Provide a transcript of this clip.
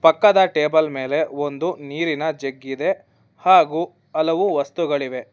ಪಕ್ಕದ ಟೇಬಲ್ ಮೇಲೆ ಒಂದು ನೀರಿನ ಜಗ್ಗಿ ದೆ ಹಾಗೂ ಹಲವು ವಸ್ತುಗಳಿವೆ.